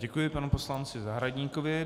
Děkuji panu poslanci Zahradníkovi.